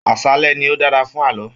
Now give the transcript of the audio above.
Aṣálẹ ní o dára fún ààlọ́.